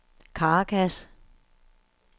Caracas